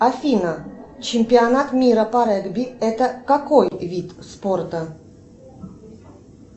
афина чемпионат мира по регби это какой вид спорта